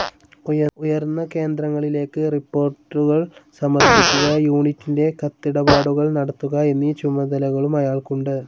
ഉയർന്ന കേന്ദ്രങ്ങളിലേക്ക് റിപ്പോർട്ടുകൾ സമർപ്പിക്കുക, യൂണിറ്റിൻ്റെ കത്തിടപാടുകൾ നടത്തുക എന്നീ ചുമതലകളും അയാൾക്കുണ്ട്.